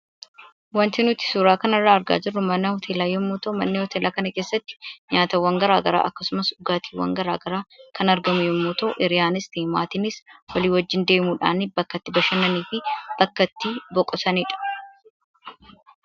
wanti nuti suuraa kanarraa argaa jirru mana hoteelaa yommuu ta'u, mana hoteelaa kana keessatti nyaataawwan garaagaraa akkasumas dhugaatiiwwan garaagaraa kan argamu yommuu ta'u, hiriyaanis , maatiinis walii wajjin deemuudhaan bakka itti bashannananii fi boqotanidha.